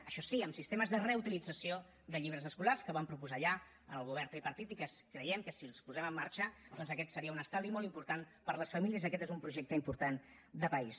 això sí amb sistemes de reutilització de llibres escolars que va proposar ja el govern tripartit i que creiem que si els posem en marxa doncs aquest seria un estalvi molt important per a les famílies aquest és un projecte important de país